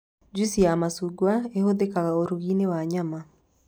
Juici ya macungwa ĩhũthĩkaga ũrugi-inĩ wa nyama